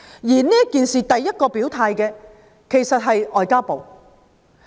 就今次事件，首先表態的其實是外交部。